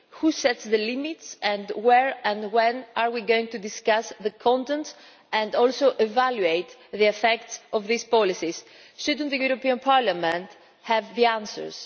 Who sets the limits, and where and when are we going to discuss the content and also evaluate the effects of these policies? Shouldn't the European Parliament have the answers?